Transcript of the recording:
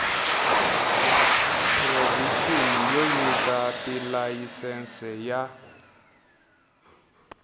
provixini yo nyika tilayisense ya